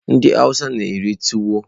Ndị awụsa na-eri tuwo.